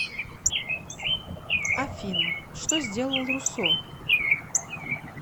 афина что сделал руссо